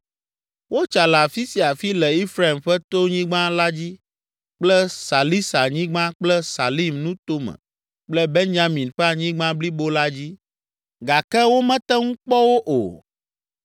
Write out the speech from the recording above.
Wotsa le afi sia afi le Efraim ƒe tonyigba la dzi kple Salisa nyigba kple Salim nuto me kple Benyamin ƒe anyigba blibo la dzi gake womete ŋu kpɔ wo o.